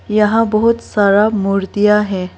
यहां बहुत सारा मूर्तियां है।